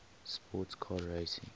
sports car racing